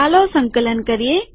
ચાલો સંકલન કરીએ